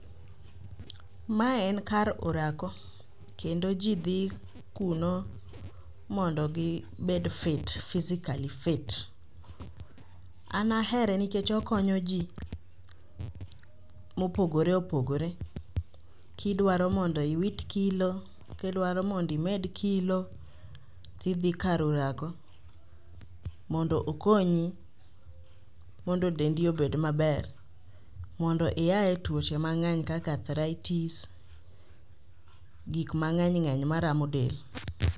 Mae en kar orako, kendo ji dhi kuno mondo gibed fit, physically fit. An ahere nikech okonyo ji mopogore opogore kidwaro mondo iwit kilo, kidwaro mondo imed kilo tidhi kar orako mondo okonyi mondo dendi obed maber mondo iaye e tuoche mang'eny kaka athraitis gik mang'eny ng'eny maramo del.